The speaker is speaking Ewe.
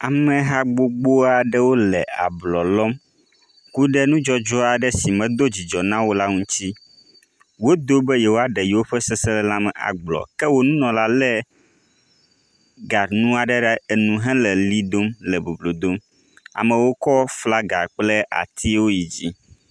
Ameha gbogbo aɖewo le ablɔ lɔm. ku ɖe nudzɔdzɔ aɖe si medo dzidzɔ nawo o la ŋuti. Wodo be yewoa ɖe yewo ƒe seselelame agblɔ ke wo nunɔla le ganu aɖe ɖe asi hele li dom le boblo dom. Amewo kɔ flaga kple atiwo yi dzi.